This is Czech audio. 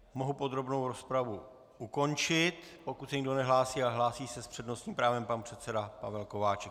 Mohu podrobnou rozpravu ukončit, pokud se nikdo nehlásí - ale hlásí se s přednostním právem pan předseda Pavel Kováčik.